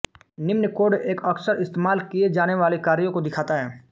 निम्न कोड एक अक्सर इस्तेमाल किये जाने वाले कार्यों को दिखाता है